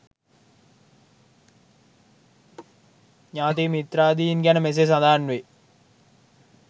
ඥාති මිත්‍රාදීන් ගැන මෙසේ සඳහන් වේ.